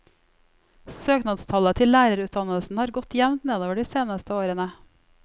Søknadstallet til lærerutdannelsen har gått jevnt nedover de seneste årene.